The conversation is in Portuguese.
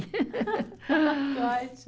Ótimo!